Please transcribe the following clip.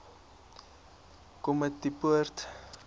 komatipoort